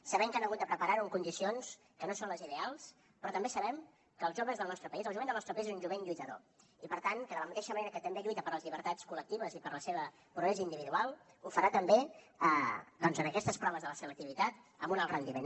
sabem que han hagut de preparar ho en condicions que no són les ideals però també sabem que els joves del nostre país el jovent del nostre país és un jovent lluitador i per tant que de la mateixa manera que també lluita per les llibertats col·lectives i pel seu progrés individual ho farà també doncs en aquestes proves de la selectivitat amb un alt rendiment